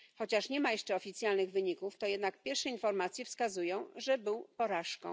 Chociaż nie ma jeszcze oficjalnych wyników, to jednak pierwsze informacje wskazują, że był porażką.